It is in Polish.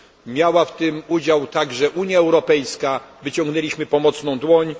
Miała w tym udział także Unia Europejska, wyciągnęliśmy pomocną dłoń.